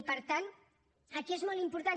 i per tant aquí és molt important